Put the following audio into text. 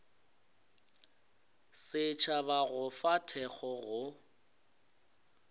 setšhaba go fa thekgo go